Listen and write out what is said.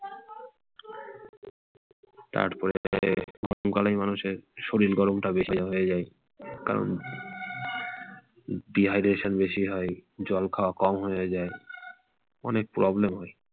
তারপরে গরমকালেই মানুষ শরীর গরমটাই বেশি হয়ে যায় কারণ dehydration টা বেশি হয় জল খাওয়াটা কম হয়ে যায় । অনেক problem হয়।